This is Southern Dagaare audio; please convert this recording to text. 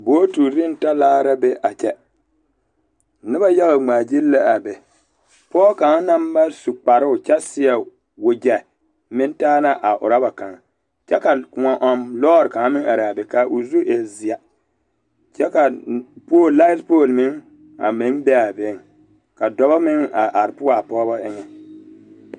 Bootiri ne talaare la be a kyɛ noba yaɡa ŋmaaɡyili la a be pɔɔ kaŋ na ba su kparoo kyɛ seɛ waɡyɛ meŋ taa la a urɔba kaŋ kyɛ ka kõɔ-ɔŋ lɔɔre kaŋ meŋ are a be ka o zu e zeɛ kyɛ ka laet pooli meŋ be a beŋ ka dɔbɔ meŋ are poɔ a pɔɡebɔ eŋɛ.